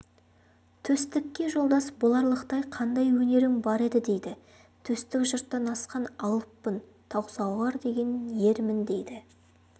төстікке жолдас боларлықтай қандай өнерің бар еді дейді төстік жұрттан асқан алыппын таусоғар деген ермін дейді